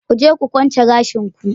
Ku je ku kunce gashin ku.